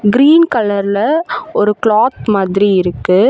Green கலர்ல ஒரு cloth மாதிரி இருக்கு.